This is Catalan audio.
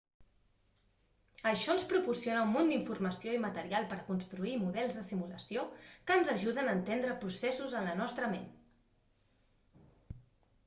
això ens proporciona un munt d'informació i material per a construir models de simulació que ens ajuden a entendre processos en la nostra ment